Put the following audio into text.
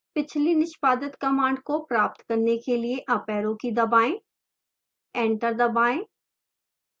पिछली निष्पादित command का प्राप्त करने के लिए अप arrow की दबाएं एंटर दबाएं